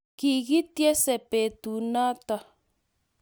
Kikityense peetuunooto.